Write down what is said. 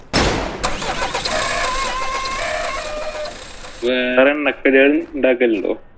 വേറെ എണ്ണക്കടികള്‍ ഉണ്ടാക്കലുണ്ടോ?